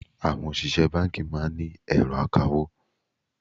Àwọn òṣìṣẹ́ báńkì máa ń ní ẹ̀rọ akawó.